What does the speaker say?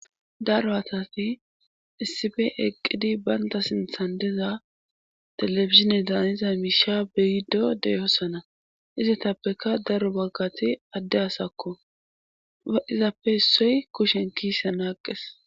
Daro asafi issife eqqidi baynta sinthan diza telefizine daaniza miisha beyido deyoossana izitappeka daro baggati adde asakko a izappe issoy kushen kiise naaqqes.